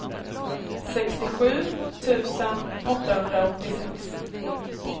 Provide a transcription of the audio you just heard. sextiosju tusen åttahundraåttiosex